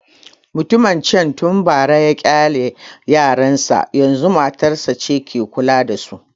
Mutumin can tun bara ya ƙyale yaran sa, yanzu matarsa ce ke kula da su